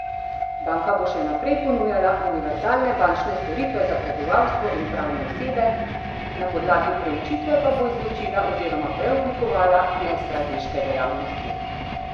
Banka bo še naprej ponujala univerzalne bančne storitve za prebivalstvo in pravne osebe, na podlagi preučitve pa bo izločila oziroma preoblikovala nestrateške dejavnosti.